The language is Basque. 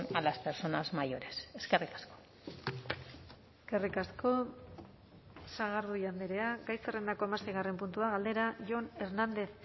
a las personas mayores eskerrik asko eskerrik asko sagardui andrea gai zerrendako hamaseigarren puntua galdera jon hernández